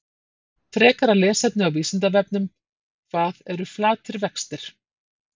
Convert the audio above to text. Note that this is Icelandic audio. Frekara lesefni á Vísindavefnum: Hvað eru flatir vextir?